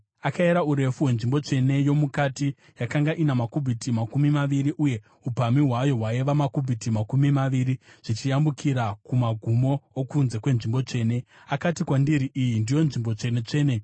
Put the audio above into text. Akayera urefu hwenzvimbo tsvene yomukati; yakanga ina makubhiti makumi maviri, uye upamhi hwayo hwaiva makubhiti makumi maviri zvichiyambukira kumagumo okunze kwenzvimbo tsvene. Akati kwandiri, “Iyi ndiyo Nzvimbo Tsvene-tsvene.”